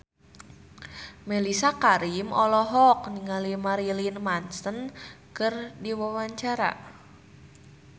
Mellisa Karim olohok ningali Marilyn Manson keur diwawancara